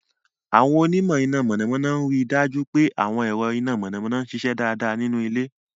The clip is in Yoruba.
Àwọn onímọ̀ iná mọ̀nàmọ́ná ń rí i dájú pé àwọn ẹ̀rọ iná mọ̀nàmọ́ná ń ṣiṣẹ́ dáadáa nínú ilé.